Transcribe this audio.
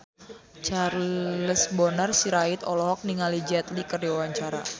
Charles Bonar Sirait olohok ningali Jet Li keur diwawancara